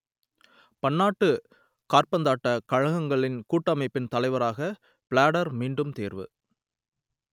பன்னாட்டுக் காற்பந்தாட்டக் கழகங்களின் கூட்டமைப்பின் தலைவராக பிளாட்டர் மீண்டும் தேர்வு